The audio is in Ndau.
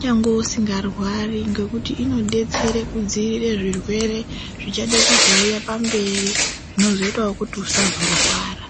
nyangwe usingarwari nekuti inodetsere kudzivirire zvirwere zvichade kuzouya pamberi zvinozoitawo kuti usazorwara.